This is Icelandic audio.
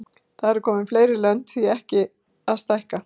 Það eru komin fleiri lönd, því ekki að stækka?